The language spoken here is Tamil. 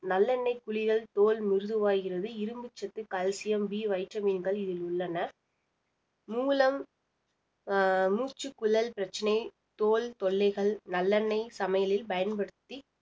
நல்லெண்ணெய் குளியல் தோல் மிருதுவாகிறது இரும்புச்சத்து calciumBvitamin கள் இதில் உள்ளன மூலம் அஹ் மூச்சுக்குழல் பிரச்சனை, தோல் தொல்லைகள் நல்லெண்ணெய் சமையலில் பயன்படுத்தி